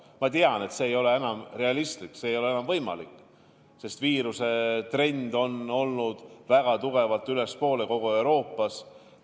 Aga ma tean, et see ei ole enam realistlik, see ei ole enam võimalik, sest viiruse trend on läinud väga tugevalt ülespoole kogu Euroopas.